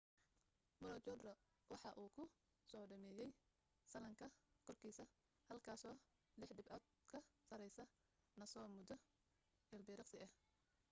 maroochydore waxa uu ku soo dhameeyay sallaanka korkiisa halkaasoo lix dhibcood ka sarraysa noosa muddo ilbiriqsi ah